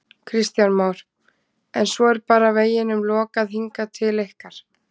Kristján Már: En svo er bara veginum lokað hingað til ykkar?